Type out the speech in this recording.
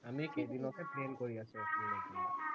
আমি কেইদিনতে plan কৰি আছো এখন লবলে